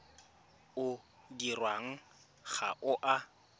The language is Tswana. o dirwang ga o a